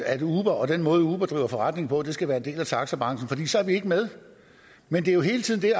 at uber og den måde uber driver forretning på skal være en del af taxabranchen for så er vi ikke med men det er jo hele tiden det